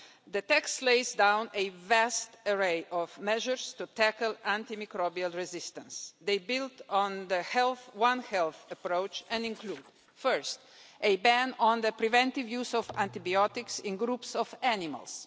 The text lays down a vast array of measures to tackle antimicrobial resistance. They build on the one health approach and include first, a ban on the preventive use of antibiotics in groups of animals